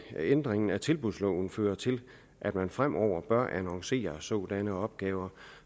ændringen af tilbudsloven fører til at man fremover bør annoncere sådanne opgaver